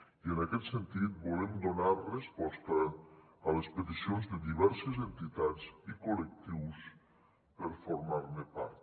i en aquest sentit volem donar resposta a les peticions de diverses entitats i col·lectius per formar ne part